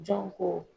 Jɔn ko